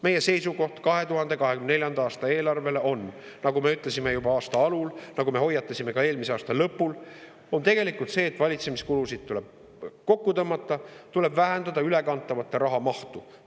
Meie seisukoht 2024. aasta eelarve kohta on – nagu me ütlesime juba aasta alul, nagu me hoiatasime ka eelmise aasta lõpul – tegelikult see, et valitsemiskulusid tuleb kokku tõmmata, tuleb vähendada ülekantava raha mahtu.